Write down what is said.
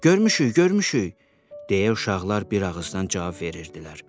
Görmüşük, görmüşük, deyə uşaqlar bir ağızdan cavab verirdilər.